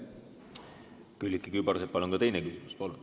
Külliki Kübarsepp, palun ka teine küsimus!